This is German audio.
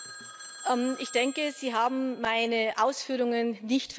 Ich denke, Sie haben meine Ausführungen nicht verstanden.